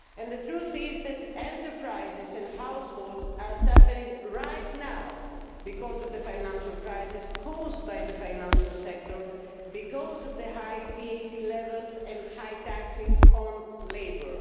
The truth is that enterprises and households are suffering right now as a result of the financial crisis, caused by the financial sector because of high VAT levels and high taxes on labour.